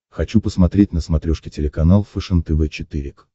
хочу посмотреть на смотрешке телеканал фэшен тв четыре к